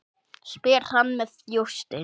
spyr hann með þjósti.